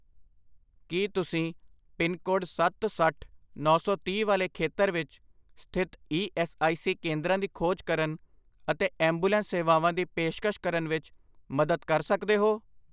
ਕੀ ਤੁਸੀਂ ਪਿੰਨਕੋਡ ਸੱਤ, ਸੱਠ, ਨੌ ਸੌ ਤੀਹ ਵਾਲੇ ਖੇਤਰ ਵਿੱਚ ਸਥਿਤ ਈ ਐੱਸ ਆਈ ਸੀ ਕੇਂਦਰਾਂ ਦੀ ਖੋਜ ਕਰਨ ਅਤੇ ਐਂਬੂਲੈਂਸ ਸੇਵਾਵਾਂ ਦੀ ਪੇਸ਼ਕਸ਼ ਕਰਨ ਵਿੱਚ ਮਦਦ ਕਰ ਸਕਦੇ ਹੋ?